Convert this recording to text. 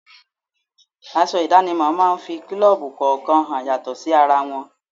Aṣọ idanimo máa ń fi kulobu kọ̀ọ̀kan hàn yàtọ̀ sí ara wọn.